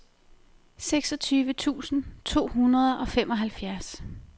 seksogtyve tusind to hundrede og femoghalvfjerds